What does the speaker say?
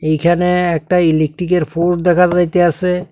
এইখানে একটা ইলেকট্রিকের পোস্ট দেখা যাইতাসে।